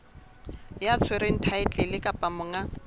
ya tshwereng thaetlele kapa monga